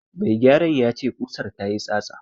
Mai gyaran ya ce ƙusar ta yi tsatsa.